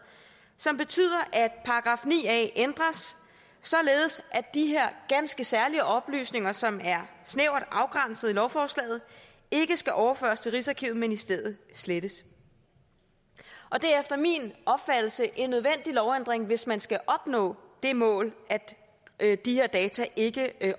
som betyder at § ni a ændres således at de her ganske særlige oplysninger som er snævert afgrænset i lovforslaget ikke skal overføres til rigsarkivet men i stedet slettes og det er efter min opfattelse en nødvendig lovændring hvis man skal opnå det mål at de her data ikke